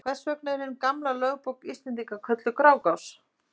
Hvers vegna er hin gamla lögbók Íslendinga kölluð Grágás?